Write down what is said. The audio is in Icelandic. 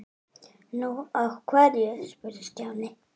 Nú, af hverju? spurði Stjáni.